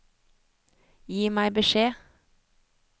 Gi meg beskjed